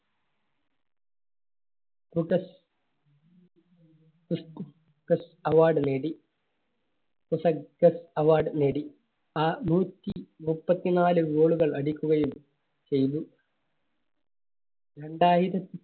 Award നേടി. award നേടി ആ നൂറ്റി മുപ്പത്തി നാല് Goal കൾ അടിക്കുകയും ചെയ്തു. രണ്ടായിര~